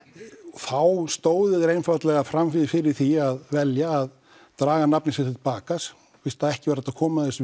þá stóðu þeir einfaldlega fram fyrir því að velja að draga nafn sitt tilbaka fyrst ekki var hægt að koma þessum